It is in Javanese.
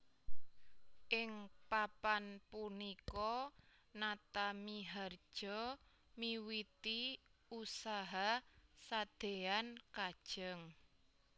Ing Papan punika Natamiharja miwiti usaha sadean kajeng